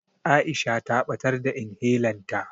Aisha ta ɓatar da inhelan ta.